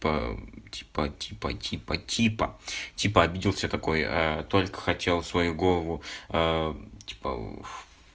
по типа типа типа типа типа обиделся такой только хотел свою голову типа